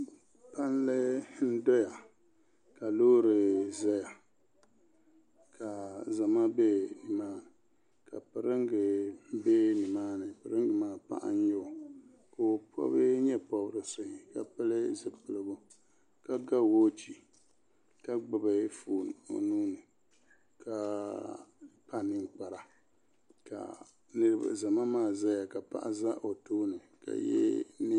Palli n dɔya ka loori zaya ka zama bɛ ni maa ni ka piringa bɛ ni maa ni piringa maa paɣa n nyɛ o ka o pɔbi nye pɔbirisi ka pili zipiligu ka ga wɔchi ka gbubi fooni o nuu ni ka kpa ninkpara ka zama maa zaya ka paɣa za o tooni ka yɛ.